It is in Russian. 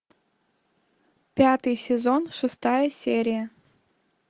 пятый сезон шестая серия